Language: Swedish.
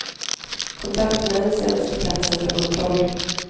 Kontaktmän sänds till platsen för kontroll.